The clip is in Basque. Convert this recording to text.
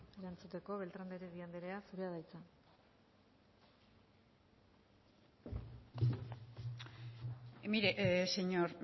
erantzuteko beltrán de heredia andrea zurea da hitza mire señor